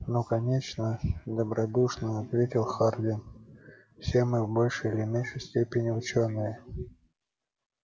ну конечно добродушно ответил хардин все мы в большей или меньшей степени учёные